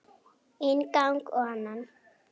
Inn gang og annan.